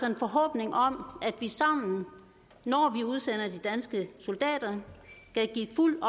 en forhåbning om at vi sammen når vi udsender de danske soldater kan give fuld